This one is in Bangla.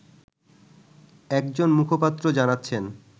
একজন মুখপাত্র জানাচ্ছেন